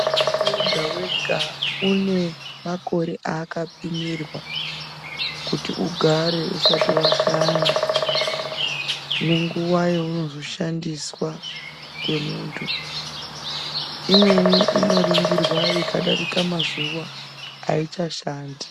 Muntu wega wega une makore aaka pimirwa kuti ugare usati washanda ne nguva yaanozo shandiswa nge muntu imweni ino ningirwa ika darika mazuva aicha shanda.